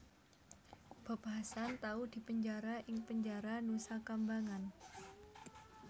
Bob Hasan tau dipenjara ing penjara Nusakambangan